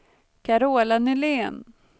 Carola Nylén